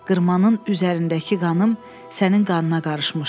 Qırmanın üzərindəki qanım sənin qanına qarışmışdı.